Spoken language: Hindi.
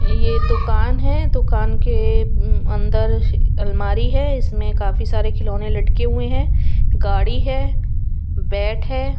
ये दुकान है दुकान के अंदर अलमारी है इसमें काफी सारे खिलौने लटके हुए हैं गाड़ी है बैट हैं।